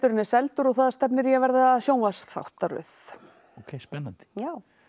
er seldur og það stefnir í að verða sjónvarpsþáttaröð ókei spennandi já